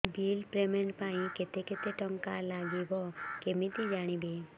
bill payment ପାଇଁ କେତେ କେତେ ଟଙ୍କା ଲାଗିବ କେମିତି ଜାଣିବି